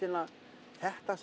þetta